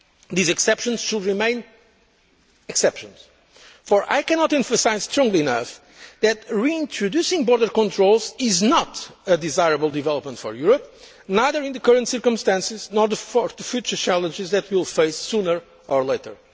drugs. These exceptions should remain exceptions, for I cannot emphasise strongly enough that reintroducing border controls is not a desirable development for Europe, neither in the current circumstances nor in relation to the future challenges that we will face sooner or